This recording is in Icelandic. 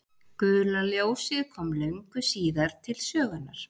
gula ljósið kom löngu síðar til sögunnar